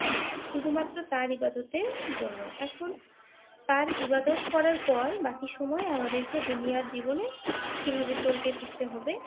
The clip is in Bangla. শুধুমাত্র তার ইবাদতের জন্য, এখন তার ইবাদত করার পর বাকি সময় আমাদেরকে দুনিয়ার জীবনে কিভাবে চলতে ফিরতে হবে